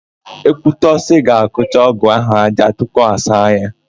Ekwutọsị ga-akụcha ọ́gụ̀ áhụ̀ ájá tupu ọ saa ya.